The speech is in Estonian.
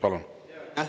Palun!